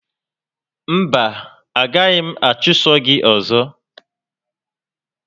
Mba, a gaghị m achụso gị ọzọ